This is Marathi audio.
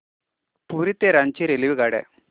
पुरी ते रांची रेल्वेगाड्या